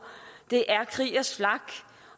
det er kriegers flak